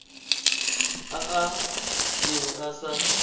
a a neng a sa